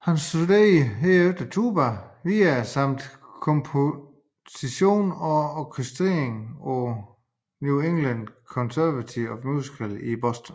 Han studerede herefter tuba videre samt komposition og orkestrering på New England Conservatory of Music i Boston